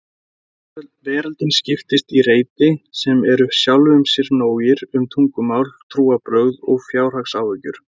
Veröldin skiptist í reiti sem eru sjálfum sér nógir um tungumál, trúarbrögð og fjárhagsáhyggjur.